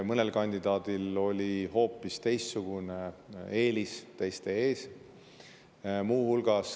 Mõnel kandidaadil oli hoopis eelis teiste ees.